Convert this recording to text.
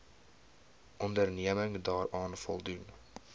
onderneming daaraan voldoen